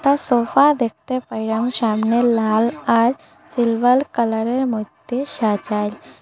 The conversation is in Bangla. সোফা দেখতে পাইরাম সামনে লাল আর সিলভাল কালারের মধ্যে সাজাইল।